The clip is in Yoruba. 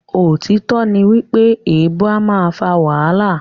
Òtítọ́ ní pé èèbu a máa fà wàhálà.